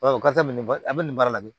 o kɔfɛ nin ba a bɛ nin baara la bi